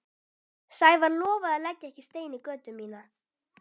Sævar lofaði að leggja ekki stein í götu mína.